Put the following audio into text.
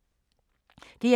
DR2